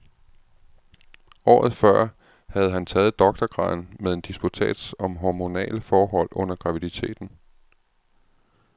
Året før havde han taget doktorgraden med en disputats om hormonale forhold under graviditeten.